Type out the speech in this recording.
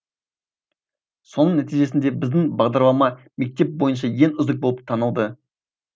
соның нәтижесінде біздің бағдарлама мектеп бойынша ең үздік болып танылды